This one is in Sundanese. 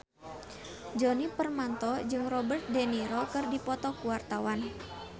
Djoni Permato jeung Robert de Niro keur dipoto ku wartawan